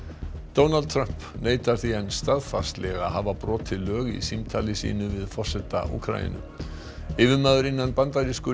Donald Trump neitar því enn staðfastlega að hafa brotið lög í símtali sínu við forseta Úkraínu yfirmaður innan bandarísku